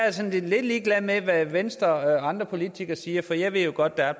er sådan lidt ligeglad med hvad venstre og andre politikere siger for jeg ved jo godt at